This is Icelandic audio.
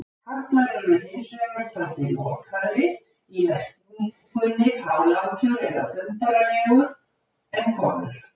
Karlar eru hins vegar taldir lokaðri- í merkingunni fálátur eða þumbaralegur- en konur.